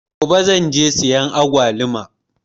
Gobe zan je in siya agwaluma.